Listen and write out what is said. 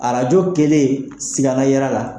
Arajo kɛlen sikana yera la